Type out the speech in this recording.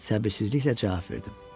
Səbirsizliklə cavab verdim.